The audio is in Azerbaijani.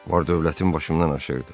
Var dövlətim başımdan aşırdı.